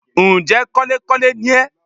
Ǹ jẹ́ kọ́lékọ́le ni ẹ́